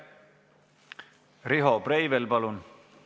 Riho Breivel, palun!